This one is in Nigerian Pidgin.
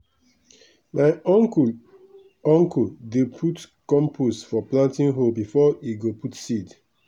my uncle uncle dey put compost for planting hole before e go put seed.